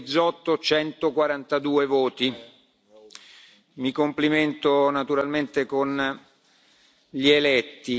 Bizzotto 142 voti Mi complimento naturalmente con gli eletti.